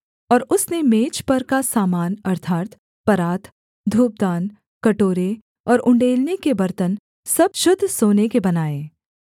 और उसने मेज पर का सामान अर्थात् परात धूपदान कटोरे और उण्डेलने के बर्तन सब शुद्ध सोने के बनाए